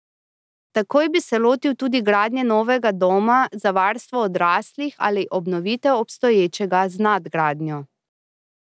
Takoj bi se lotil tudi gradnje novega doma za varstvo odraslih ali obnovitev obstoječega z nadgradnjo.